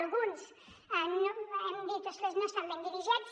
alguns hem dit ostres no estan ben dirigits